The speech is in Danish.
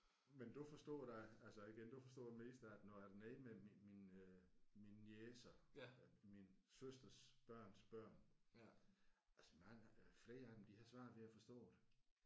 Men du forstod da altså igen du forstod det meste af det når jeg er dernede med min min øh mine niecer øh min søsters børns børn altså mange øh flere af dem de har svært ved at forstå det